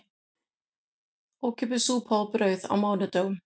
Ókeypis súpa og brauð á mánudögum